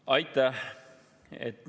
Aitäh!